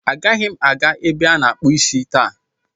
Agaghị m aga ebe a na-akpụ isi taa.